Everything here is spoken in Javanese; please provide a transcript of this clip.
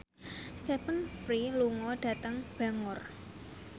Stephen Fry lunga dhateng Bangor